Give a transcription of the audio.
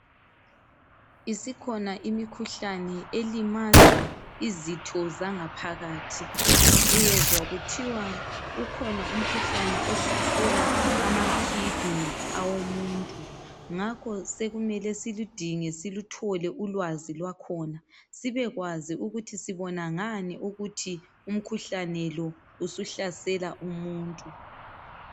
Isikhona imikhuhlani elimaza izitho zangaphakathi. Uzwa kuthiwa ukhona umkhuhlane ohlasela amakidney, awomuntu. Ngakho sekumele siludinge, siluthole ulwazi lwakhona. Sibekwazi ukuthi sibona ngani, ukuthi umkhuhlane lo, usuhlasela umuntu.